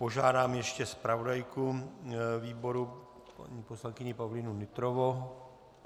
Požádám ještě zpravodajku výboru paní poslankyni Pavlínu Nytrovou...